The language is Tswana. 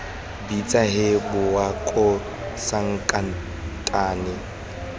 bitsa hee bowa koo sankatane